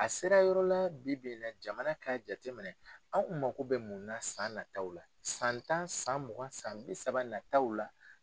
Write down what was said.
A sera yɔrɔ la bi bi in na jamana k'a jateminɛ anw kun mako bɛ mun na san nataw la san tan san mugan san bi saba nataw la.